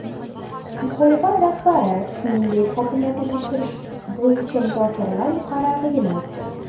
Muxolifat rahbari, shuningdek, hokimiyatni topshirish bo‘yicha muzokaralar muqarrarligini aytdi.